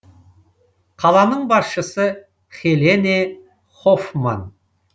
қаланың басшысы хелене хофман